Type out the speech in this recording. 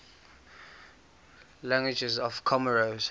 languages of comoros